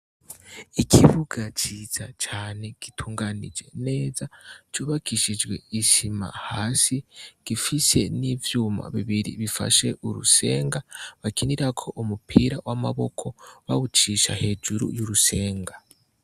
Ikibuga ciza cane gitunganije neza cubakishijwe isima hasi gifise n'ivyuma bibiri bifashe urusenga bakinirako umupira w'amaboko bawucisha hejuru y'urusenga.